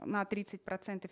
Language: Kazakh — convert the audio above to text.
на тридцать процентов